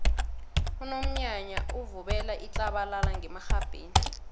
unomnyanya uvubela itlabalala ngemarhabheni